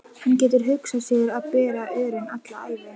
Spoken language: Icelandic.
Hann getur hugsað sér að bera örin alla ævi.